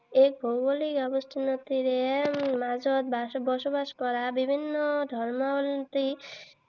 এই ভৌগোলিক আৱেষ্টনীৰ মাজত বসবাস কৰা বিভিন্ন ধৰ্মাৱলী